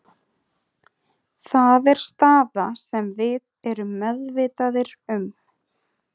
Það er staða sem við erum meðvitaðir um.